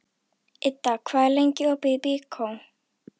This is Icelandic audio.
Idda, hvað er lengi opið í Byko?